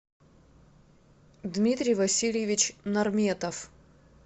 дмитрий васильевич нарметов